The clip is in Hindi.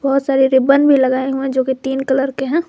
बहुत सारे रिबन भी लगाए हुए जो की तीन कलर के हैं।